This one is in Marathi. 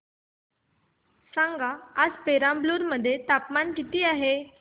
सांगा आज पेराम्बलुर मध्ये तापमान किती आहे